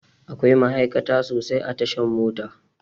Akwai ma'aikata sosai a tashan mota